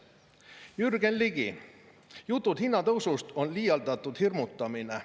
Jürgen Ligi: "Jutud hinnatõusust on liialdatud hirmutamine.